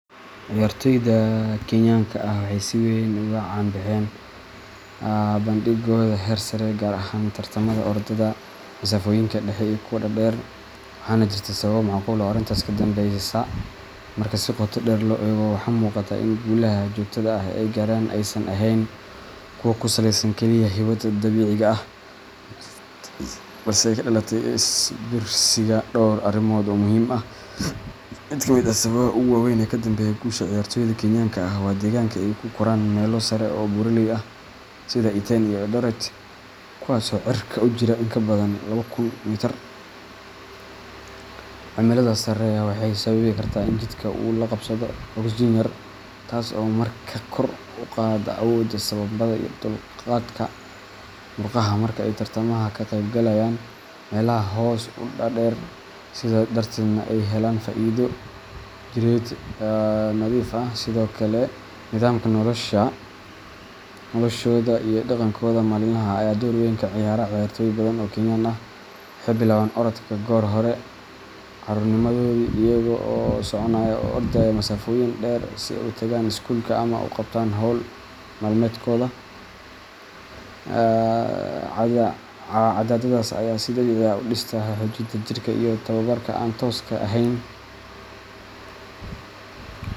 Ciyaartoyda Kenyaanka ah waxay si weyn ugu caan baxeen bandhiggooda heer sare ah, gaar ahaan tartamada orodada masaafooyinka dhexe iyo kuwa dhaadheer, waxaana jirta sabab macquul ah oo arrintaas ka dambeysa. Marka si qoto dheer loo eego, waxaa muuqata in guulaha joogtada ah ee ay gaaraan aysan ahayn kuwo ku saleysan kaliya hibada dabiiciga ah, balse ay ka dhalatay is biirsiga dhowr arrimood oo muhiim ah. Mid ka mid ah sababaha ugu waaweyn ee ka dambeeya guusha ciyaartoyda Kenyaanka ah waa deegaanka ay ku koraan meelo sare oo buuraley ah sida Iten iyo Eldoret, kuwaas oo cirka u jira in ka badan laba kun mitir. Cimiladaas sarreysa waxay sababi kartaa in jidhka uu la qabsado oksijiin yar, taas oo markaa kor u qaadda awoodda sambabada iyo dulqaadka murqaha marka ay tartamada ka qeybgalayaan meelaha hoos u dhaadheer, sidaa darteedna ay helaan faa’iido jireed oo dhif ah. Sidoo kale, nidaamka noloshooda iyo dhaqankooda maalinlaha ah ayaa door weyn ka ciyaara. Ciyaartoy badan oo Kenyaan ah waxay bilaabaan orodka goor hore carruurnimadoodii, iyagoo soconaya ama ordaya masaafooyin dheer si ay u tagaan iskuulka ama u qabtaan hawl maalmeedkooda. Caadadaas ayaa si dabiici ah u dhistaa xoojinta jirka iyo tababarka aan tooska ahayn.